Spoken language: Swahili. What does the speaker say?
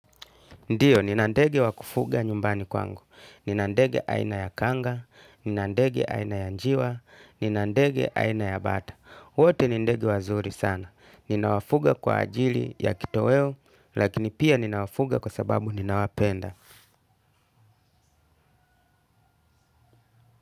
Ndio, nina ndege wa kufuga nyumbani kwangu, nina ndege aina ya kanga, nina ndege aina ya njiwa, nina ndege aina ya bata. Wote ni ndege wazuri sana, ninawafuga kwa ajili ya kitoweo, lakini pia ninawafuga kwa sababu ninawapenda.